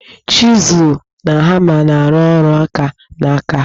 Chizụl na hama na arụ ọrụ aka n'aka.